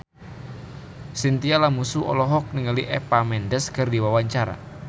Chintya Lamusu olohok ningali Eva Mendes keur diwawancara